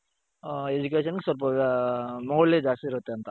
ಅ education ಸ್ವಲ್ಪ ಮೌಲ್ಯ ಜಾಸ್ತಿ ಇರುತ್ತೆ ಅಂತ.